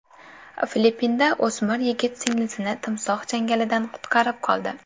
Filippinda o‘smir yigit singlisini timsoh changalidan qutqarib qoldi.